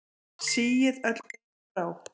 Síið öll bein frá.